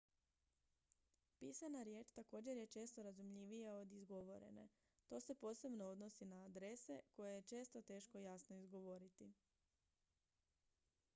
pisana riječ također je često razumljivija od izgovorene to se posebno odnosi na adrese koje je često teško jasno izgovoriti